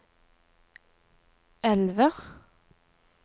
elve